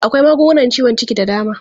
Akwai magungunan ciwon ciki da dama.